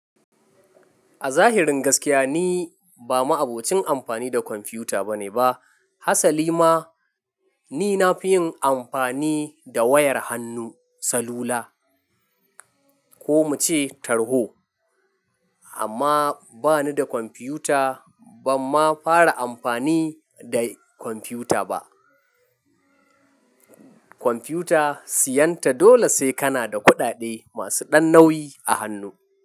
A zahirin gaskiya ni ba ma'abocin amfani da kwamfiyuta ba ne ba. Hasali ma ni na fi yin amfani da wayar hannu salula ko muce tarho amma bani da kwamfiyuta bam ma fara amfani da kwamfiyuta ba. Kwamfiyuta siyan ta dole sai kana da kuɗaɗe masu ɗan nauyi a hannu.